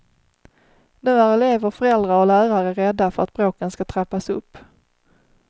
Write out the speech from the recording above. Nu är elever, föräldrar och lärare rädda för att bråken skall trappas upp.